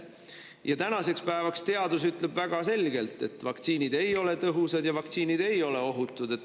" Ja tänaseks päevaks ütleb teadus väga selgelt, et vaktsiinid ei ole tõhusad ja vaktsiinid ei ole ohutud.